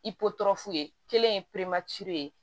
I pɔtɔ f'u ye kelen ye